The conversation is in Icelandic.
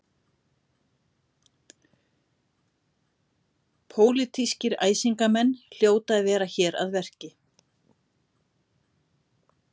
Pólitískir æsingamenn hljóta að vera hér að verki.